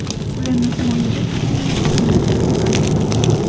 Ularni himoyalash uchun niqobimni taqqan bo‘laman.